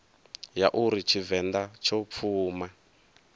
ya uri tshivenḓa tsho pfuma